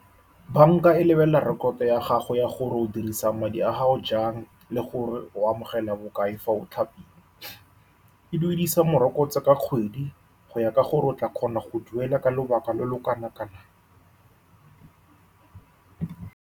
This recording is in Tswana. Banka e lebelela rekoto ya gago ya gore o dirisa madi a gago jang le gore o amogela bokae fa o thapilwe, e duedisa morokotso ka kgwedi go ya ka gore o tla kgona go duela ka lobaka lo lo kana-kanang.